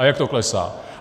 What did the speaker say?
A jak to klesá.